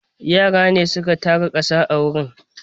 Yara ne su ka tara ƙasa a wurin.